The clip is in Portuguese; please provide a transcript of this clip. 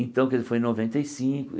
Então, quer di foi em noventa e cinco.